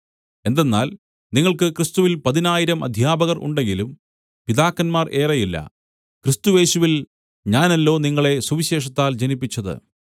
എന്തെന്നാൽ നിങ്ങൾക്ക് ക്രിസ്തുവിൽ പതിനായിരം അദ്ധ്യാപകർ ഉണ്ടെങ്കിലും പിതാക്കന്മാർ ഏറെയില്ല ക്രിസ്തുയേശുവിൽ ഞാനല്ലോ നിങ്ങളെ സുവിശേഷത്താൽ ജനിപ്പിച്ചത്